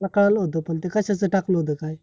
सकाळला होत, पण ते कश्याच टाकल होत? काय?